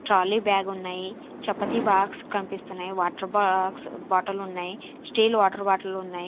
Trolley బ్యాగున్నాయి chapati box కనిపిస్తున్నాయి water box bottle ఉన్నాయి స్టీల్ వాటర్ బాటలున్నాయి .